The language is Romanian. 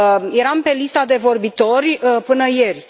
Eram pe lista de vorbitori până ieri.